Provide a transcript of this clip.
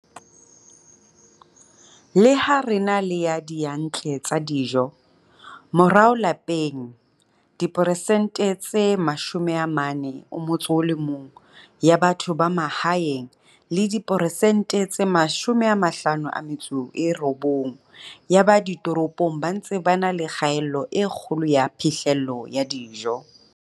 Le ha re na le diyantle tsa dijo, morao lapeng diperesente tse 41 ya batho ba mahaeng le diperesente tse 59, 4 ya ba ditoropong ba ntse ba na le kgaello e kgolo ya phihlello ya dijo.